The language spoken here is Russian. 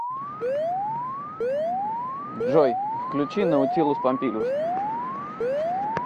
джой включи наутилус помпилиус